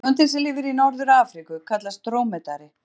Tegundin sem lifir í Norður-Afríku kallast drómedari.